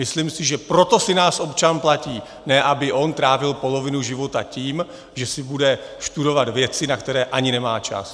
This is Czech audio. Myslím si, že proto si nás občan platí, ne aby on trávil polovinu života tím, že si bude studovat věci, na které ani nemá čas.